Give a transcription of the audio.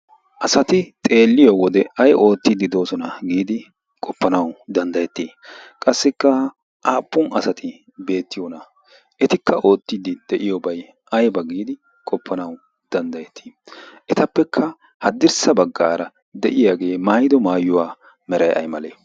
asati xeelliyo wode ai oottiiddi doosona giidi qoppanawu danddayettii? qassikka aappun asati beettiyoona? etikka oottiiddi de7iyoobai aiba giidi qoppanawu danddayettii? etappekka haddirssa baggaara de7iyaagee maayido maayuwaa merai ai malee?